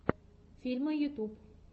фильмы ютуб